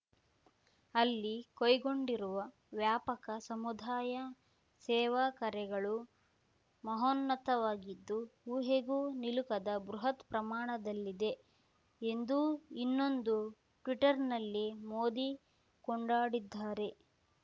ಅಲ್ಲಿ ಕೈಗೊಂಡಿರುವ ವ್ಯಾಪಕ ಸಮುದಾಯ ಸೇವಾ ಕಾರ್ಯಗಳು ಮಹೋನ್ನತವಾಗಿದ್ದು ಊಹೆಗೂ ನಿಲುಕದ ಬೃಹತ್‌ ಪ್ರಮಾಣದಲ್ಲಿದೆ ಎಂದೂ ಇನ್ನೊಂದು ಟ್ವೀಟರ್ ನಲ್ಲಿ ಮೋದಿ ಕೊಂಡಾಡಿದ್ದಾರೆ